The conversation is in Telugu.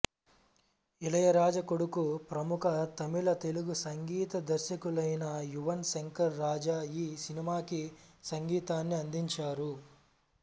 ఇళయరాజా కొడుకు ప్రముఖ తమిళ తెలుగు సంగీత దర్శకులైన యువన్ శంకర్ రాజా ఈ సినిమాకి సంగీతాన్ని అందించారు